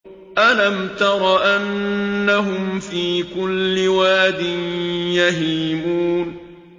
أَلَمْ تَرَ أَنَّهُمْ فِي كُلِّ وَادٍ يَهِيمُونَ